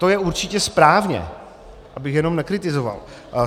To je určitě správně, abych jenom nekritizoval.